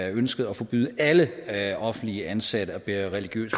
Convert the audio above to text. ønskede at forbyde alle alle offentlige ansatte at bære religiøs